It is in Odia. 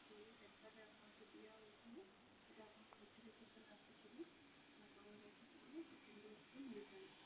ଯୋଉ ବି centre ରେ ଆପଣଙ୍କୁ ଦିଆ ହୋଉଥିବ ସେଠି ଆପଣଙ୍କୁ notification ଆସିଯିବ ଆପଣ ଯଥା ଶୀଘ୍ର second dose ବି ନେଇଯାଅନ୍ତୁ।